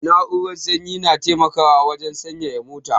Na'urar sanyi na taimakawa wajan sanyaya mota